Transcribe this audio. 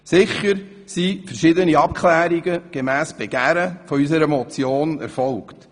Sicher sind verschiedene Abklärungen gemäss dem Begehren unserer Motion schon erfolgt.